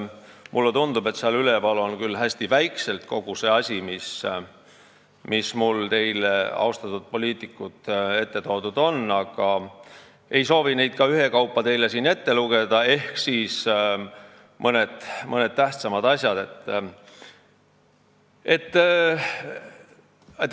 Mulle tundub, et sinna üles on hästi väikselt näha kogu see asi, mis mul austatud poliitikute ette toodud on, aga ma ei soovi neid slaide teile ka ühekaupa siin ette lugeda, nimetan mõned tähtsamad asjad.